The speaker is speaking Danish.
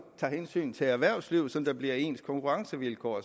tager hensyn til erhvervslivet så der bliver ens konkurrencevilkår